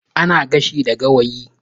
Ana gashi da Gawayi